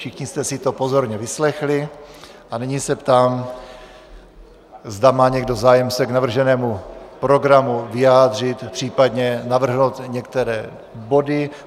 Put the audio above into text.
Všichni jste si to pozorně vyslechli a nyní se ptám, zda má někdo zájem se k navrženému programu vyjádřit, případně navrhnout některé body.